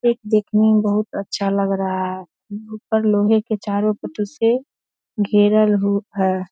एक देखने में बहुत अच्छा लग रहा है। ऊपर लोहे के चारों पट्टी से घेरल हु है।